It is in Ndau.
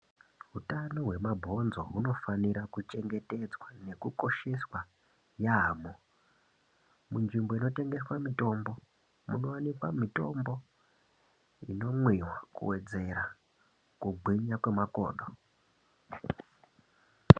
Utano hwemabonzo hunofanira kukosheswa nekuchengetedzwa yaamho. Munzvimbo inotengeswa mitombo munowanika mitombo inomwiwa kuwedzera kugwinya kwe makodo.